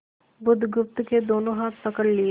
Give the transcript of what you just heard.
बुधगुप्त के दोनों हाथ पकड़ लिए